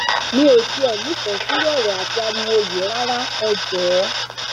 mi ò tiẹ nífẹẹ sírú ọrọ àti ariwo yìí rárá ẹ jọọ